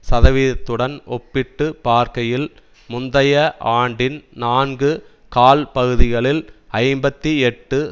சதவீதத்துடன் ஒப்பிட்டு பார்க்கையில் முந்தைய ஆண்டின் நான்கு கால்பகுதிகளில் ஐம்பத்தி எட்டு